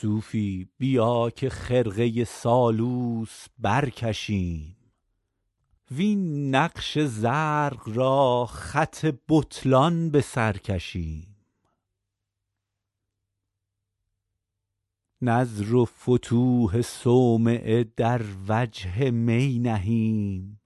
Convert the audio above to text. صوفی بیا که خرقه سالوس برکشیم وین نقش زرق را خط بطلان به سر کشیم نذر و فتوح صومعه در وجه می نهیم